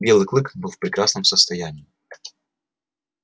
белый клык был в прекрасном состоянии